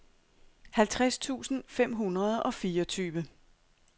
halvtreds tusind fem hundrede og fireogtyve